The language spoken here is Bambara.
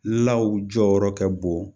Law jɔyɔrɔ ka bon